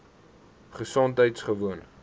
gesondheidgewoon